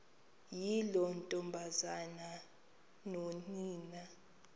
yiloo ntombazana nonina